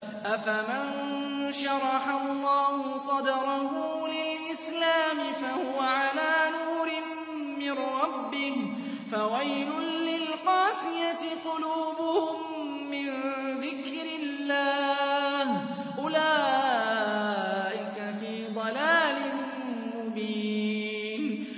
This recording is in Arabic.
أَفَمَن شَرَحَ اللَّهُ صَدْرَهُ لِلْإِسْلَامِ فَهُوَ عَلَىٰ نُورٍ مِّن رَّبِّهِ ۚ فَوَيْلٌ لِّلْقَاسِيَةِ قُلُوبُهُم مِّن ذِكْرِ اللَّهِ ۚ أُولَٰئِكَ فِي ضَلَالٍ مُّبِينٍ